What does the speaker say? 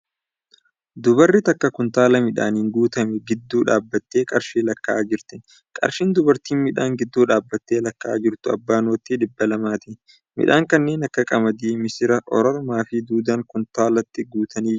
Dubarri takka kuntaala midhaaniin guutame gidduu dhaabbatee qarshii lakkaa'aa jirti. Qarshii dubartiin midhaan gidduu dhaabbatee lakkaa'aa jirtu abbaa noottii dhibba lamaati . Midhaan kanneen akka qamadii, missira ororomaa fi duudaan kuntaalatti guutanii jiru.